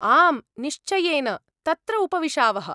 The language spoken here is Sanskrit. आम् निश्चयेन! तत्र उपविशावः।